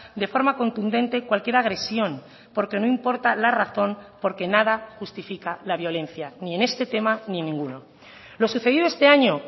de forma contundente cualquier agresión porque no importa la razón porque nada justifica la violencia ni en este tema ni en ninguno lo sucedido este año